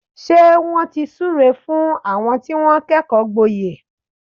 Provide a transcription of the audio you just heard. Ṣé wọ́n ti súre fún àwọn tí wọ́n kẹ́kọ̀ọ́ gboyè?